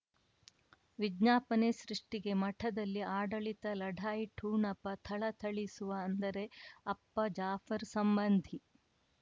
ವಿಜ್ಞಾಪನೆ ಸೃಷ್ಟಿಗೆ ಮಠದಲ್ಲಿ ಆಡಳಿತ ಲಢಾಯಿ ಠೊಣಪ ಥಳಥಳಿಸುವ ಅಂದರೆ ಅಪ್ಪ ಜಾಫರ್ ಸಂಬಂಧಿ